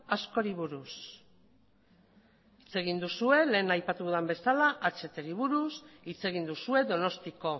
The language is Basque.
askori buruz hitz egin duzue lehen aipatu dudan bezala hatri buruz hitz egin duzue donostiko